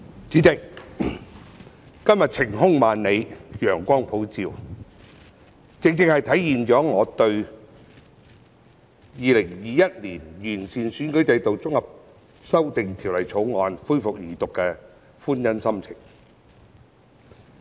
主席，今天晴空萬里，陽光普照，正正體現了我對《2021年完善選舉制度條例草案》恢復二讀辯論的歡欣心情。